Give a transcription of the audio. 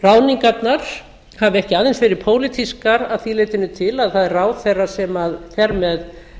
ráðningarnar hafi ekki aðeins verið pólitískar að því leytinu til að það er ráðherra sem fer með